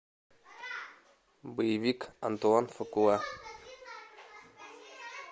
боевик антуан фукуа